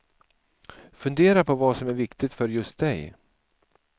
Fundera på vad som är viktigt för just dig.